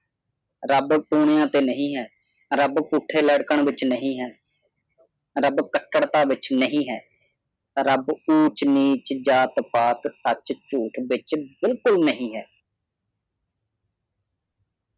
ਰੱਬ ਕੁਨੀਆਂ ਤੇ ਨਹੀਂ ਹੈ ਰੱਬ ਪੁੱਠੇ ਲਟਕਣ ਦੇ ਵਿਚ ਨਹੀਂ ਹੈ ਰੱਬ ਕੱਟੜਤਾ ਦੇ ਵਿੱਚ ਨਹੀਂ ਹੈ ਰੱਬ ਊਚ-ਨੀਚ ਜਾਤ-ਪਾਤ ਸੱਚ ਝੂਠ ਦੇ ਵਿੱਚ ਬਿਲਕੁਲ ਨਹੀਂ ਹੈ